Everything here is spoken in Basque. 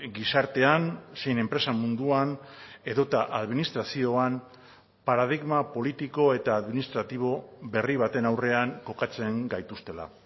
gizartean zein enpresa munduan edota administrazioan paradigma politiko eta administratibo berri baten aurrean kokatzen gaituztela